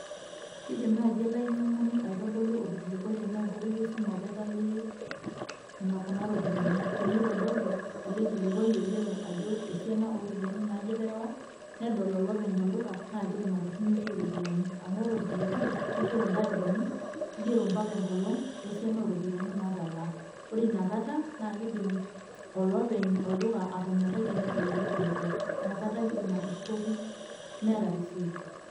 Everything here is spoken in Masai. Kidim nai olainyang'ani orkilikwai tenaa enkoitoi esimu apa atalie kuna ropiyiani. Tenitodolu, ele kilikwai oigero ajo esiana oropiyiani naaje eterewa, nedol olopeny olduka, na kidim atorrinyoki iropiyiani. Amu ore orkilikwai, kigero ntarikini, kigero mpaka enkolong, wesiana oropiyiani natalaa. Ore inakata, na kidim olopeny olduka atonyorrai tenedol ele kilikwai. Nakata ake idim atushukoki meeta risit.